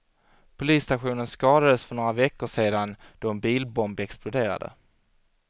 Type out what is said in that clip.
Polisstationen skadades för några veckor sedan då en bilbomb exploderade.